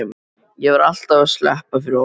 Ég var alltaf að sleppa fyrir horn.